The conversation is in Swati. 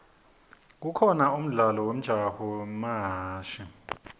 kukhona umdlalo wemjaho wamahashi